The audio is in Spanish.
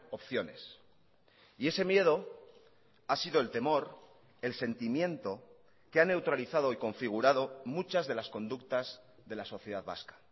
opciones y ese miedo ha sido el temor el sentimiento que ha neutralizado y configurado muchas de las conductas de la sociedad vasca